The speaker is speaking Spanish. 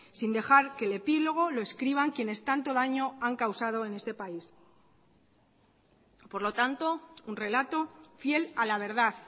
sin dejar que el epílogo lo escriban quienes tanto daño han causado en este país por lo tanto un relato fiel a la verdad